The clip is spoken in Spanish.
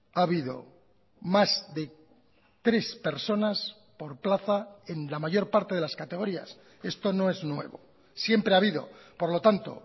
ha habido más de tres personas por plaza en la mayor parte de las categorías esto no es nuevo siempre ha habido por lo tanto